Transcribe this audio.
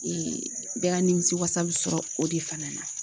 Ee bɛɛ ka nimisiwasa bɛ sɔrɔ o de fana na